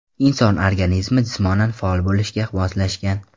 Inson organizmi jismonan faol bo‘lishga moslashgan.